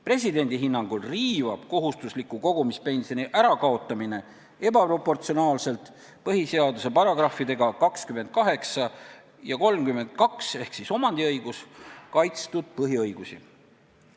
Presidendi hinnangul riivab kohustusliku kogumispensioni ärakaotamine ebaproportsionaalselt põhiseaduse §-dega 28 ja 32 kaitstud põhiõigusi.